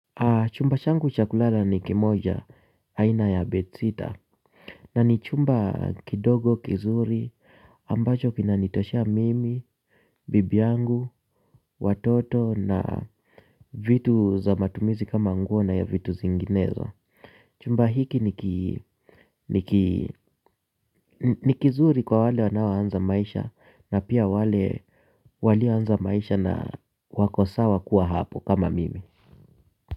Chumba changu cha kulala ni kimoja aina ya bedsitter. Na ni chumba kidogo kizuri ambacho kinanitoshea mimi, bibi yangu, watoto na vitu za matumizi kama nguo na vitu zinginezo. Chumba hiki ni kizuri kwa wale wanaoanza maisha na pia wale walioanza maisha na wako sawa kuwa hapo kama mimi.